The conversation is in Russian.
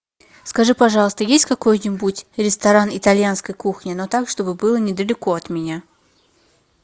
скажи пожалуйста есть какой нибудь ресторан итальянской кухни но так чтобы было недалеко от меня